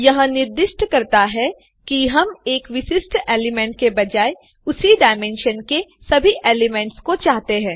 यह निर्दिष्ट करता है कि हम एक विशिष्ट एलिमेंट के बजाय उसी डायमेंशन के सभी एलिमेंट्स को चाहते हैं